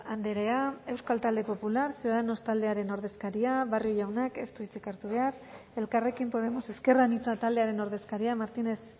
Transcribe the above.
andrea euskal talde popular ciudadanos taldearen ordezkaria barrio jaunak ez du hitzik hartu behar elkarrekin podemos ezker anitza taldearen ordezkaria martínez